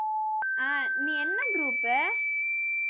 ஆஹ் நீ என்ன group உ